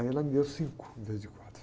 Aí ela me deu cinco, em vez de quatro.